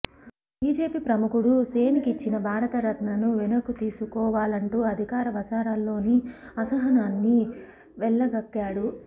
ఒక బిజెపి ప్రముఖుడు సేన్ కిచ్చిన భారత రత్నను వెనక్కు తీసుకో వాలంటూ అధికార వసారాల్లోని అసహనాన్ని వెళ్లగక్కాడు